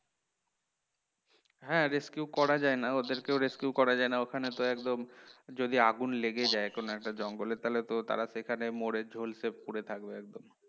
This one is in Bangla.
হ্যাঁ rescue করা যায় না ওদের কেউ rescue করা যায় না ওখানে তো একদম যদি আগুন লেগে যায় কোন একটা জঙ্গলে তাহলে তো তারা সেখানে মরে ঝলসে পড়ে থাকবে একদম